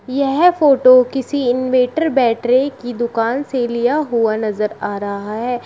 यह फोटो किसी inverter battery की दुकान से लिया हुआ नजर आ रहा है।